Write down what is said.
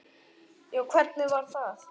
Já, hvernig var það?